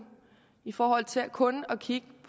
i forhold til kun at kigge